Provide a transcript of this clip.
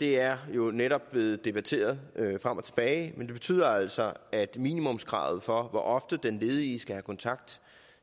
det er jo netop blevet debatteret frem og tilbage men det betyder altså at minimumskravet for hvor ofte den ledige skal have kontakt